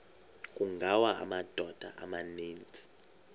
kungawa amadoda amaninzi